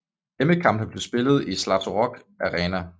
Hjemmekampene bliver spillet i Zlatorog Arena